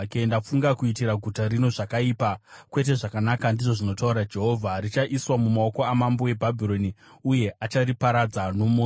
Ndafunga kuitira guta rino zvakaipa kwete zvakanaka, ndizvo zvinotaura Jehovha. Richaiswa mumaoko amambo weBhabhironi, uye achariparadza nomoto.’